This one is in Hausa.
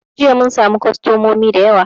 Jiya mun samu kostamomi da yawa